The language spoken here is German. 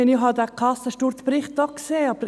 Ich habe diesen «Kassensturz»-Bericht auch gesehen.